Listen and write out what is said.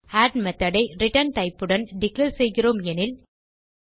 add method ஐ return typeஉடன் declare செய்கிறோம் எனில்